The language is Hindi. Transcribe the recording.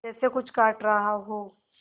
जैसे कुछ काट रहा हो